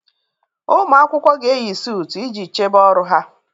Ụmụ akwụkwọ ga-eyi suut iji chebe ọrụ ha